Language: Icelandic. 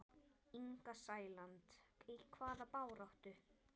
Inga Sæland: Í hvaða baráttu?